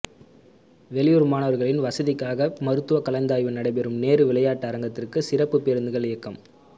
வெளியூர் மாணவர்களின் வசதிக்காக மருத்துவ கலந்தாய்வு நடைபெறும் நேரு விளையாட்டு அரங்கத்துக்கு சிறப்பு பேருந்துகள் இயக்கம்